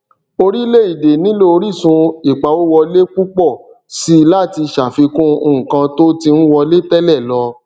orílẹ èdè nílò orísun ìpawówọlé púpò síi láti ṣàfikún nǹkan tó ti ń wọlé tẹlẹ lọ